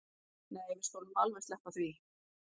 Nei við skulum alveg sleppa því